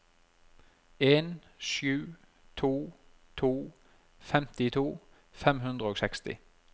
en sju to to femtito fem hundre og seksti